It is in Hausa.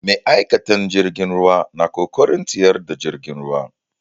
Ma'aikatan jirgin ruwa na ƙoƙarin tsayar da jirgin ruwa.